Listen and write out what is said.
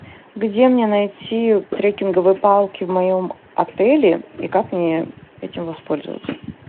где мне найти треккинговые палки в моем отеле и как мне этим воспользоваться